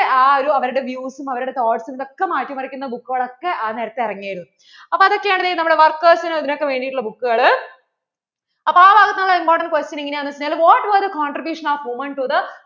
ആ ഒരു അവരുടെ views അവരുടെ thoughts ഉം ഇതൊക്കെ മാറ്റി മറിക്കുന്ന book കൾ ഒക്കേ ആ നേരത്തു ഇറങ്ങിരുന്നു അപ്പോൾ ഇതൊക്കെ ആണ് ദേ workers നും അതിനു ഒക്കെ വേണ്ടിട്ടുള്ള book കള് അപ്പോ ആ വരുന്ന important questions എങ്ങനെ ആണന്നു വെച്ചാൽ what were the contribution of women to the